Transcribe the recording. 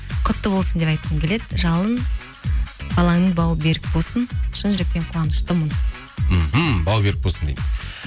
құтты болсын деп айтқым келеді жалын балаңның бауы берік болсын шын жүректен қуаныштымын мхм бауы берік болсын дейміз